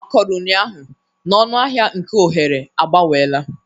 Ọ kọrọ ụnyaahụ na ọnụahịa nke oghere agbanweela